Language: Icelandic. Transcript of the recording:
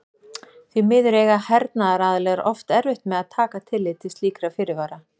því miður eiga hernaðaraðilar oft erfitt með að taka tillit til slíkra fyrirvara